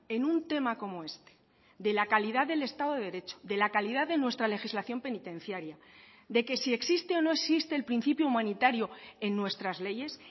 en un tema como este de la calidad del estado de derecho de la calidad de nuestra legislación penitenciaria de que si existe o no existe el principio humanitario en nuestras leyes